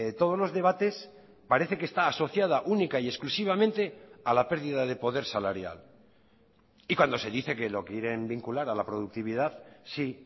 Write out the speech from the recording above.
todos los debates parece que está asociada única y exclusivamente a la pérdida de poder salarial y cuando se dice que lo quieren vincular a la productividad sí